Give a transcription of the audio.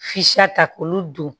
Fisaya ta k'olu don